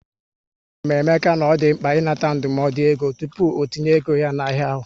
A gwara m Emeka na ọ dị mkpa ị nata ndụmọdụ égo tupu ọtinye ego ya na ahịa ahụ